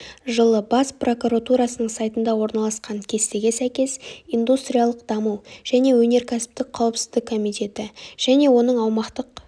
жылы бас прокуратурасының сайтында орналасқан кестеге сәйкес индустриялық даму және өнеркәсіптік қауіпсіздік комитеті және оның аумақтық